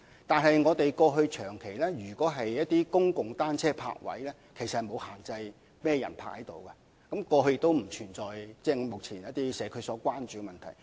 但是，過去長期以來，政府提供的公共單車泊位並無限制甚麼人使用，過去亦不存在一些目前備受社區關注的問題。